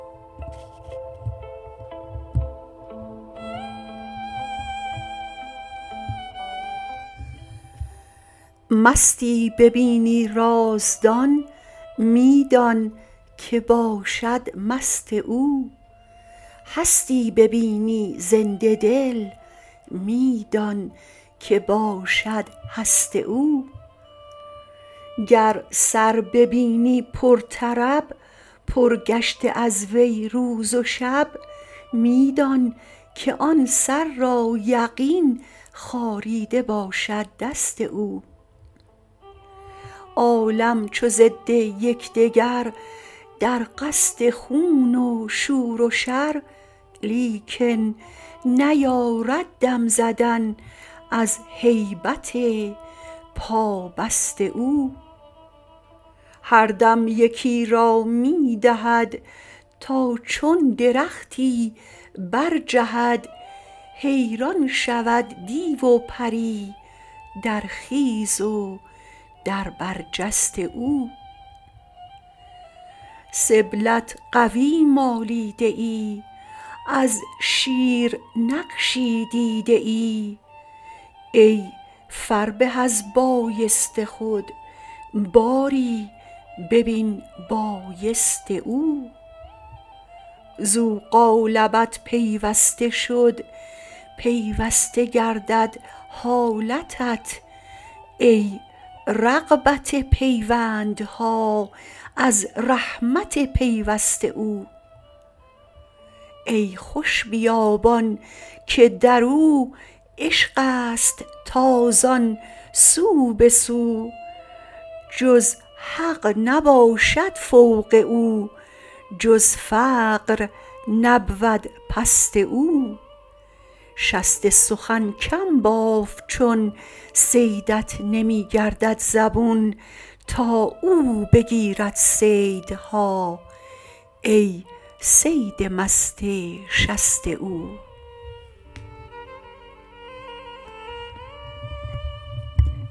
مستی ببینی رازدان می دانک باشد مست او هستی ببینی زنده دل می دانک باشد هست او گر سر ببینی پرطرب پر گشته از وی روز و شب می دانک آن سر را یقین خاریده باشد دست او عالم چو ضد یک دگر در قصد خون و شور و شر لیکن نیارد دم زدن از هیبت پابست او هر دم یکی را می دهد تا چون درختی برجهد حیران شود دیو و پری در خیز و در برج است او سبلت قوی مالیده ای از شیر نقشی دیده ای ای فربه از بایست خود باری ببین بایست او زو قالبت پیوسته شد پیوسته گردد حالتت ای رغبت پیوندها از رحمت پیوست او ای خوش بیابان که در او عشق است تازان سو به سو جز حق نباشد فوق او جز فقر نبود پست او شست سخن کم باف چون صیدت نمی گردد زبون تا او بگیرد صیدها ای صید مست شست او